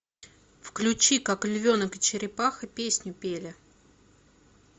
включи как львенок и черепаха песню пели